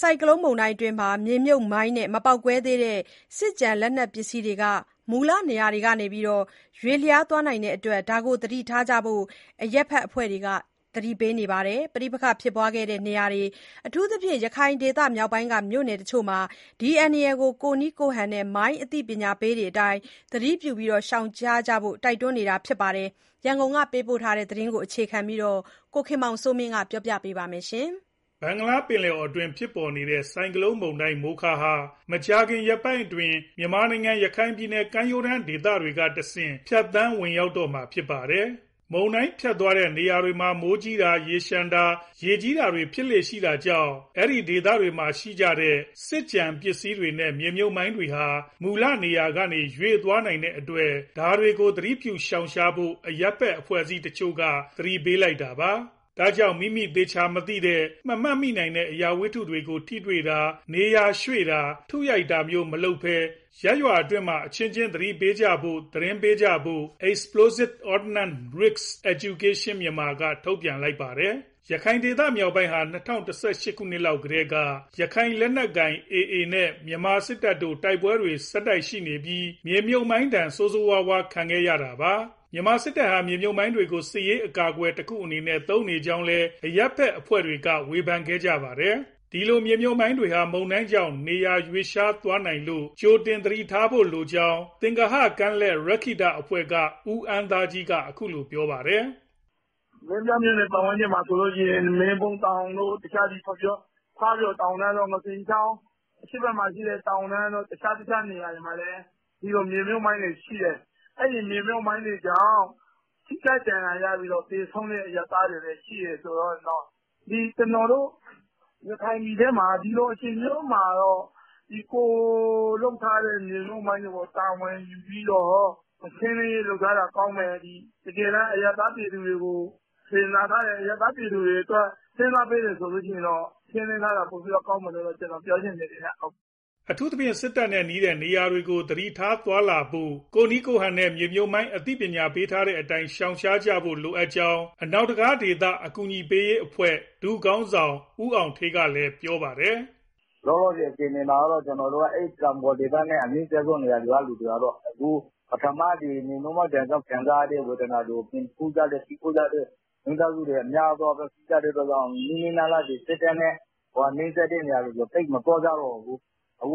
ဆိုင်ကလုန်းမုန်တိုင်းအတွင်း မြေမြှုပ်မိုင်းနဲ့ မပေါက်ကွဲသေးတဲ့ စစ်ကျန်လက်နက်ပစ္စည်းတွေ မူလနေရာကနေ ရွေ့လျားသွားနိုင်တဲ့အတွက် ဒါတွေကို သတိထားဖို့ အရပ်ဘက်အဖွဲ့တချို့က သတိပေးနေပါတယ်။ ပဋိပက္ခဖြစ်ပွားခဲ့တဲ့ နေရာတွေ၊ အထူးသဖြင့် ရခိုင်ဒေသမြောက်ပိုင်းက မြို့နယ်တချို့မှာ ဒီအန္တရာယ်ကို ကိုယ့်နည်းကိုယ့်ဟန်နဲ့ မိုင်းအသိပညာပေးတွေအတိုင်း သတိပြု ရှောင်ရှားကြဖို့ တိုက်တွန်းလိုက်တာပါ။ ရန်ကုန်ကပေးပို့တဲ့ ဒီသတင်းကို အခြေခံပြီး ကိုခင်မောင်စိုးမင်းက ပြောပြမှာပါ။ ဘင်္ဂလားပင်လယ်အော်အတွင်း ဖြစ်ပေါ်နေတဲ့ ဆိုင်ကလုန်း “မိုခါ” ဟာ မကြာခင်ရက်ပိုင်းအတွင်း မြန်မာနိုင်ငံ၊ ရခိုင်ပြည်နယ် ကမ်းရိုးတန်းဒေသတွေကတဆင့် ဖြတ်သန်းဝင်ရောက်တော့မှာ ဖြစ်ပါတယ်။ မုန်တိုင်းဖြတ်သွားတဲ့ နေရာတွေမှာ မိုးကြီးတာ၊ ရေလျှံတာ၊ ရေကြီးတာတွေ ဖြစ်လေ့ရှိတာကြောင့် အဲဒီ ဒေသတွေမှာရှိနေတဲ့ စစ်ကျန်ပစ္စည်းတွေနဲ့ မြေမြှုပ်မိုင်းတွေဟာ မူလနေရာကနေ ရွေ့သွားနိုင်တဲ့အတွက် ဒါတွေကို သတိပြုရှောင်ရှားဖို့ အရပ်ဘက်အဖွဲ့တချို့က သတိပေးလိုက်တာပါ။ ဒါကြောင့် မိမိ သေချာမသိရတဲ့၊ မမှတ်မိနိုင်တဲ့ အရာဝတ္ထုတွေကို ထိတွေ့တာ၊ နေရာရွှေ့တာ၊ ထုရိုက်တာမျိုး မလုပ်ဘဲ ရပ်ရွာအတွင်းမှာ အချင်းချင်း သတိပေးကြဖို့၊ သတင်းပေးကြဖို့ Explosive Ordnance Risk Education (Myanmar) က ထုတ်ပြန်လိုက်တာပါ။ ရခိုင်ဒေသမြောက်ပိုင်းဟာ ၂၀၁၈ လောက်ကတည်းက ရခိုင်လက်နက်ကိုင် AA နဲ့ မြန်မာစစ်တပ်တို့ တိုက်ပွဲတွေ ဆက်တိုက် ရှိနေပြီး မြေမြှုပ်မိုင်းဒဏ်ကို ဆိုးဆိုးဝါးဝါး ခံခဲ့ရတာပါ။ မြန်မာစစ်တပ်ဟာ မြေမြှုပ်မိုင်းတွေကို စစ်ရေးအကာအကွယ် တခုအနေနဲ့ သုံးနေကြောင်းလည်း အရပ်ဘက်အဖွဲ့တွေက ဝေဖန်ခဲ့ကြတာပါ။ ဒီလို မြေမြှုပ်မိုင်းတွေဟာ မုန်တိုင်းကြောင့် နေရာရွေ့လျားသွားနိုင်လို့ ကြိုတင် သတိထားဖို့လိုကြောင်း သင်္ဂဟကမ်းလက် ရက္ခိတအဖွဲ့က ဦးအမ်းသားကြီးက အခုလိုပြောပါတယ်။ "မင်းပြားပတ်ဝန်းကျင်မှာဆိုရင် မင်းဘူးတောင်တို့၊ ဖားပျော်တောင်၊ ငါးစင်ချောင်း ၊ အရှေ့ဘက်မှာရှိတဲ့ တောင်တန်းတို့ တခြားတခြား နေရာတွေမှာလည်း မြေမြှုပ်မိုင်းတွေရှိတယ်။ အဲဒီ မြေမြှုပ်မိုင်းတွေကြောင့် ထိခိုက်ဒဏ်ရာရပြီး သေဆုံးတဲ့ အရပ်သားတွေလည်း ရှိတယ်ဆိုတော့ ကျနော်တို့ ရခိုင်ပြည်ထဲမှာ ဒီလိုအချိန်မျိုးမှာ ကိုယ်လုပ်ထားတဲ့ မြေမြှုပ်မိုင်းတွေကို တာဝန်ယူပြီး ရှင်းလင်းရေးလုပ်ထားတာ ကောင်းတယ်။ တကယ်တမ်း အရပ်သားပြည်သူတွေကို စေတနာထားတယ်၊ အရပ်သား ပြည်သူတွေအတွက် စဉ်းစားပေးတယ်ဆိုရင် ရှင်းလင်းထားတာ ပိုပြီးကောင်းတယ်လို့ ပြောချင်တယ်။" အထူးသဖြင့် စစ်တပ်နဲ့နီးတဲ့နေရာတွေကို သတိထား သွားလာဖို့၊ ကိုယ့်နည်းကိုယ့်ဟန်နဲ့ မြေမြှုပ်မိုင်း အသိပညာပေးထားတဲ့အတိုင်း ရှောင်ရှားကြဖို့လိုကြောင်း အနောက်တံခါးဒေသ အကူအညီပေးရေးအဖွဲ့ ဒုခေါင်းဆောင် ဦးအောင်ဌေးက ပြောပါတယ်။ "လောလောဆယ် အခြေအနေမှာ အဲတောင်ပေါ်ဒေသနဲ့ အနီးစပ်ဆုံးဒေသကသူတွေက ပထမအကြိမ် မြေမြှုပ်မိုင်းဒဏ် ခံစားရသူတွေရှိလို့ စစ်တပ်နဲ့ နီးစပ်တဲ့နေရာတွေကို သိပ်မသွားကြတော့ဘူး။ တော